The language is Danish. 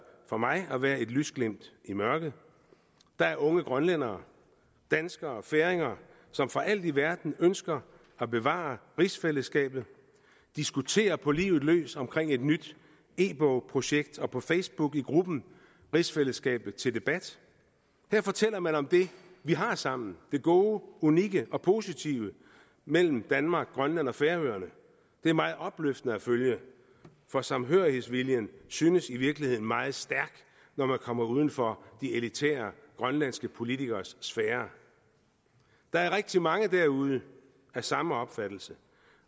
for mig at være et lysglimt i mørket der er unge grønlændere danskerne og færinger som for alt i verden ønsker at bevare rigsfællesskabet diskuterer på livet løs omkring et nyt e bogsprojekt og på facebook i gruppen rigsfællesskabet til debat her fortæller man om det vi har sammen det gode unikke og positive mellem danmark grønland og færøerne det er meget opløftende at følge for samhørighedsviljen synes i virkeligheden meget stærk når man kommer uden for de elitære grønlandske politikeres sfære der er rigtig mange derude af samme opfattelse